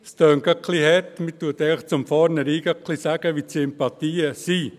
Es klingt etwas hart, denn man sagt zum Vornherein, wo die Sympathien liegen.